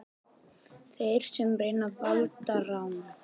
Þeir sem reyna valdarán